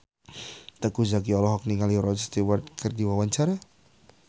Teuku Zacky olohok ningali Rod Stewart keur diwawancara